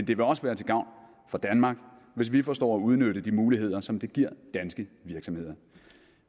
det vil også være til gavn for danmark hvis vi forstår at udnytte de muligheder som det giver danske virksomheder